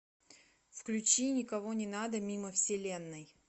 включи никого не надо мимо вселенной